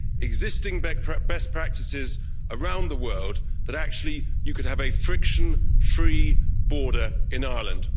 existing best practices around the world, that actually you could have a friction free border in Ireland.